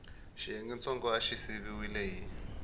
xiyengentsongo xa xi siviwile hi